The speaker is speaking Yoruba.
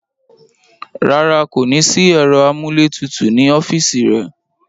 Rárá, kò ní sí ẹ̀rọ amúlétutù nínú ọ́fìsì rẹ̀